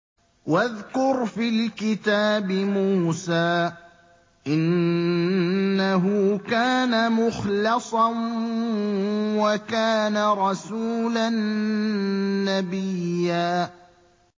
وَاذْكُرْ فِي الْكِتَابِ مُوسَىٰ ۚ إِنَّهُ كَانَ مُخْلَصًا وَكَانَ رَسُولًا نَّبِيًّا